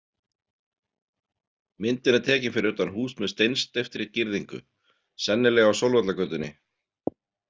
Myndin er tekin fyrir utan hús með steinsteyptri girðingu, sennilega á Sólvallagötunni.